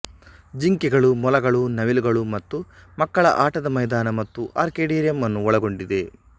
ಜಿಂಕೆಗಳು ಮೊಲಗಳು ನವಿಲುಗಳು ಮತ್ತು ಮಕ್ಕಳ ಆಟದ ಮೈದಾನ ಮತ್ತು ಆರ್ಕಿಡೇರಿಯಂ ಅನ್ನು ಒಳಗೊಂಡಿದೆ